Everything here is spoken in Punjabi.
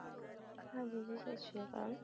ਹਾਂਜੀ ਜੀ ਸਤ ਸ੍ਰੀ ਅਕਾਲ